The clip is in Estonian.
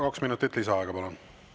Kaks minutit lisaaega, palun!